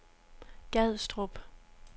Gadstrup